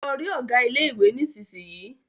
Lọ rí ọ̀gá ilé ìwé nísisìyìí!